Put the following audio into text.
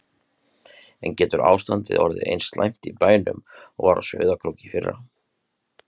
En getur ástandið orðið eins slæmt í bænum og var á Sauðárkróki í fyrra?